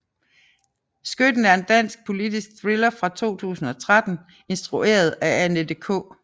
Skytten er en dansk politisk thriller fra 2013 instrueret af Annette K